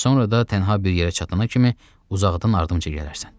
Sonra da tənha bir yerə çatana kimi uzaqdan ardımca gələrsən.